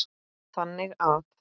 þannig að